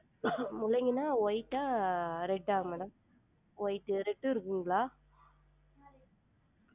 முள்ளங்கினா white ஆ red ஆ madam white உ red உ இருக்குங்களா?